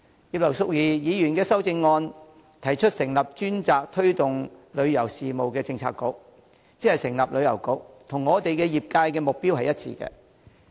葉劉淑儀議員的修正案提出成立專責推動旅遊事務的政策局，即成立旅遊局，這與旅遊業界的目標一致。